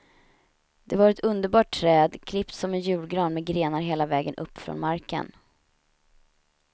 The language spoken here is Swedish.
Det var ett underbart träd, klippt som en julgran med grenar hela vägen upp från marken.